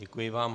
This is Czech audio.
Děkuji vám.